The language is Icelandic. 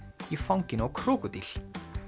í fanginu á krókódíl